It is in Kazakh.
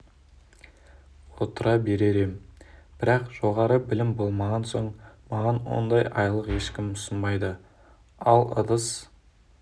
отыра берер ем бірақ жоғары білім болмаған соң маған ондай айлық ешкім ұсынбайды ал ыдыс